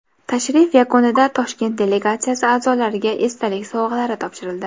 Tashrif yakunida Toshkent delegatsiyasi a’zolariga esdalik sovg‘alari topshirildi.